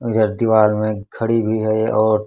इधर दीवाल में खड़ी हुई है और--